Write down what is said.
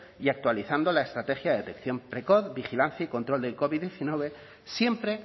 y actualizando la estrategia de detección precoz vigilancia y control del covid diecinueve siempre